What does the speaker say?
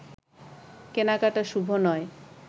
কেনাকাটা শুভ নয়